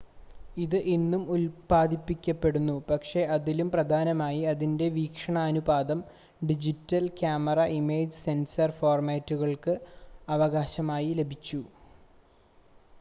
ഇത് ഇന്നും ഉൽപാദിപ്പിക്കപ്പെടുന്നു പക്ഷേ അതിലും പ്രധാനമായി അതിൻ്റെ വീക്ഷണാനുപാതം ഡിജിറ്റൽ ക്യാമറ ഇമേജ് സെൻസർ ഫോർമാറ്റുകൾക്ക് അവകാശമായി ലഭിച്ചു